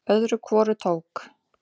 Öðru hvoru tók